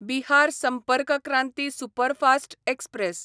Bihar Sampark Kranti superfast express